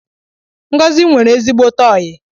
Ngozi nwere ezigbote oyi